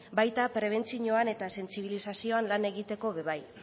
baita prebentzioan eta sentsibilizazioan lan egiteko ere bai